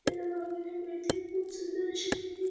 आपल्याला बघायला मिळते खूप सुंदर अशी तिथे --